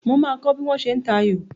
Mo máa kọ bí wọ́n ṣe ń ta ayò.